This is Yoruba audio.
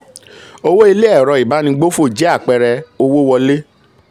owó ilé ẹ̀rọ ìbánigbófò jẹ́ apẹẹrẹ owó wọlé.